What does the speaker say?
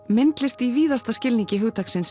myndlist í víðasta skilningi hugtaksins